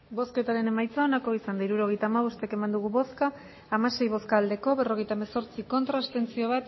hirurogeita hamabost eman dugu bozka hamasei bai berrogeita hemezortzi ez bat abstentzio